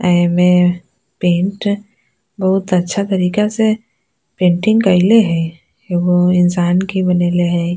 एमे पेंट बहुत अच्छा तरीका से पेंटिंग कइले हेय एगो इंसान के बनइले हेय।